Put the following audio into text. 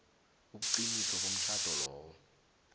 ubuqiniso bomtjhado lowo